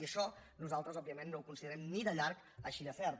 i això nosaltres òbviament no ho considerem ni de llarg així de cert